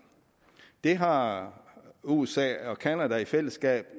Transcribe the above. det har usa og canada i fællesskab